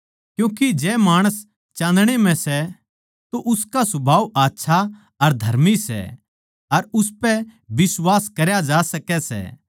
क्यूँके जै माणस चान्दणे म्ह सै तो उसका सुभाव आच्छा अर धर्मी सै अर उसपै बिश्वास करया जा सकै सै